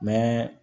Mɛ